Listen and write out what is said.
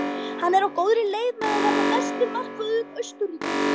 Hann er á góðri leið með að verða besti markvörður Austurríkis.